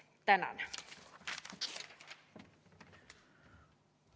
Tänan!